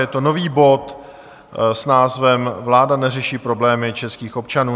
Je to nový bod s názvem Vláda neřeší problémy českých občanů.